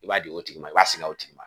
I b'a di o tigi ma i b'a singa o tigi ma.